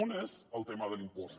un és el tema de l’impost